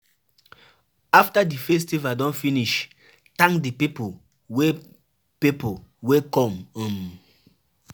After di festival don finish, thank di pipo wey pipo wey come um